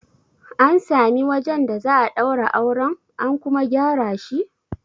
An sami wajen da za a daura auren, an kuma gyara shi?